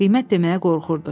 Qiymət deməyə qorxurdu.